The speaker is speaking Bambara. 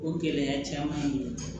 O gɛlɛya caman don